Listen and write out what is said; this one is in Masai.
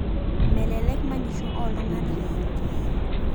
Melelek manyisho oltungana